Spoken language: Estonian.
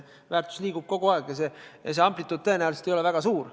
Väärtus muutub kogu aeg, kuid amplituud ei ole tõenäoliselt väga suur.